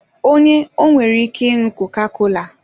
Onye ọ nwere ike ịnụ koka-kola